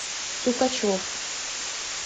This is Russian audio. сукачев